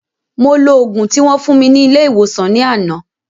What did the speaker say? Mo lo ògùn tí wón fún mi ní ilé ìwòsàn ní àná